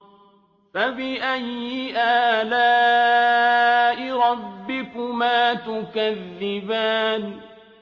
فَبِأَيِّ آلَاءِ رَبِّكُمَا تُكَذِّبَانِ